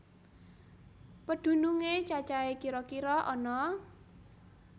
Pedhunungé cacahé kira kira ana